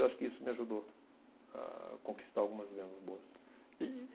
Eu acho que isso me ajudou a conquistar algumas vendas boas. E, e